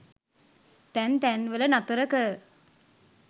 තැන් තැන්වල නතර කර